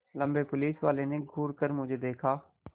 लम्बे पुलिसवाले ने घूर कर मुझे देखा